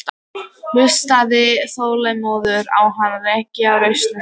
Hlustaði þolinmóður á hann rekja raunir sínar.